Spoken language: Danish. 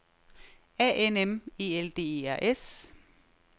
A N M E L D E R S